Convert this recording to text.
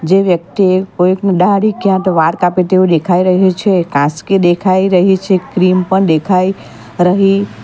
જે વ્યક્તિ કોઈકની દાઢી ક્યાં તો વાળ કાપે તેવું દેખાઈ રહ્યું છે કાસ્કી દેખાઈ રહી છે ક્રીમ પણ દેખાઈ રહી.